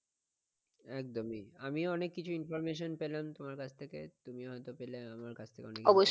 একদমই আমিও অনেক কিছু information পেলাম তোমার কাছ থেকে তুমিও হয়তো পেলে আমার কাছ থেকে অনেক কিছু।